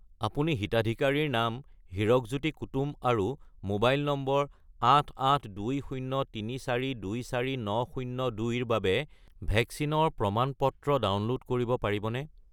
আপুনি হিতাধিকাৰীৰ নাম হিৰকজ্যোতি কুতুম আৰু মোবাইল নম্বৰ 88203424902 -ৰ বাবে ভেকচিনৰ প্ৰমাণ-পত্ৰ ডাউনলোড কৰিব পাৰিবনে?